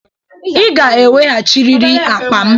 Ị ga-eweghachiriri akpa m!